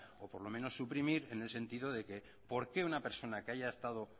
o por lo menos suprimir en el sentido de que por qué una persona que haya estado